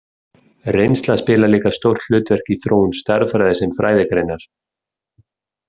Reynsla spilar líka stórt hlutverk í þróun stærðfræði sem fræðigreinar.